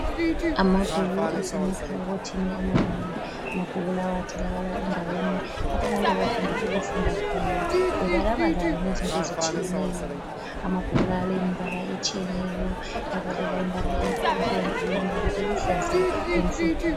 Amabhuku asemakhabothini amanengi. Amabhuku lawa atholakala endaweni lapho abantu abathanda ukufunda khona, bebalabala ngezinto ezitshiyeneyo. Amabhuku lawa alembala etshiyeneyo, ebalela imbala ebomvu, imbala eluhlaza, lemhlophe.